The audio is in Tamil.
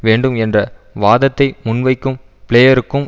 வேண்டும் என்ற வாதத்தை முன்வைக்கும் பிளேயருக்கும்